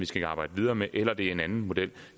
skal arbejdes videre med eller om det er en anden model